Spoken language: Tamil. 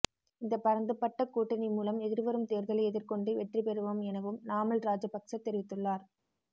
இந்த பரந்துபட்ட கூட்டணி மூலம் எதிர்வரும் தேர்தலை எதிர்கொண்டு வெற்றிபெறுவோம் எனவும் நாமல் ராஜபக்ஸ தெரிவித்துள்ளார்